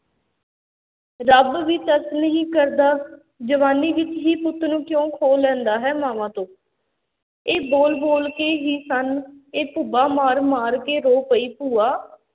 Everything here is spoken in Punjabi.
ਰੱਬ ਵੀ ਤਰਸ ਨਹੀਂ ਕਰਦਾ, ਜਵਾਨੀ 'ਚ ਹੀ ਪੁੱਤ ਕਿਉਂ ਖੋਹ ਲੈਂਦਾ ਹੈ ਮਾਵਾਂ ਤੋਂ, ਇਹ ਬੋਲ ਬੋਲਕੇ ਹੀ ਸਨ ਇਹ ਭੁੱਬਾਂ ਮਾਰ ਮਾਰ ਕੇ ਰੋ ਪਈ ਭੂਆ